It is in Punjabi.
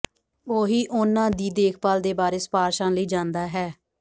ਉਹੀ ਉਨ੍ਹਾਂ ਦੀ ਦੇਖਭਾਲ ਦੇ ਬਾਰੇ ਸਿਫ਼ਾਰਸ਼ਾਂ ਲਈ ਜਾਂਦਾ ਹੈ